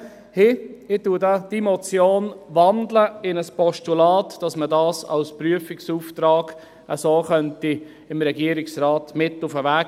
Ich wandle diese Motion in ein Postulat, damit man dies dem Regierungsrat als Prüfauftrag mit auf den Weg geben kann.